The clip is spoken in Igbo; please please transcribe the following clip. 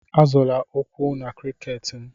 Azọla ụkwụ na cricket m.